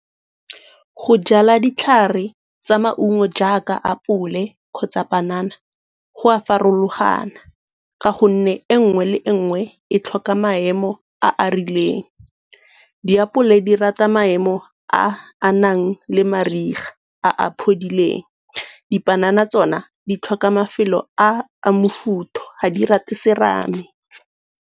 Go jala ditlhare tsa maungo jaaka apole kgotsa panana go a farologana ka gonne e nngwe le nngwe e tlhoka maemo a a rileng. Diapole di rata maemo a a nang le mariga a a phodileng. Dipanana tsona di tlhoka mafelo a a mofuthu, ga di rate serame.